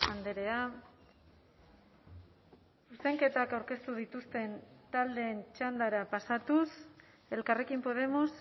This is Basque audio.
andrea zuzenketak aurkeztu dituzten taldeen txandara pasatuz elkarrekin podemos